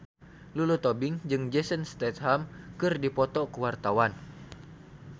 Lulu Tobing jeung Jason Statham keur dipoto ku wartawan